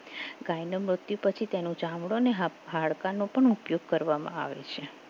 ગાયનું મૃત્યુ પછી તેનું ચામડું અને હાડકાનો પણ ઉપયોગ કરવામાં આવે છે